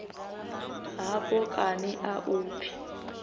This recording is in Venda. hafho kani a u pfi